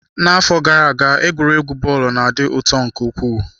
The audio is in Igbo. Afọ gara aga egwuregwu bọọlụ na-adị ụtọ nke ukwuu.